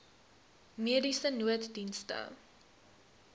mediese nooddienste